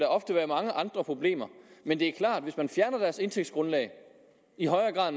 ofte være mange andre problemer men det er klart at hvis man fjerner deres indtægtsgrundlag i højere grad